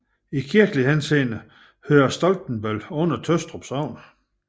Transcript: I kirkelig henseende hører Stoltebøl under Tøstrup Sogn